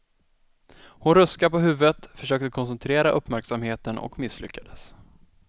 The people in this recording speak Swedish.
Hon ruskade på huvudet, försökte koncentrera uppmärksamheten och misslyckades.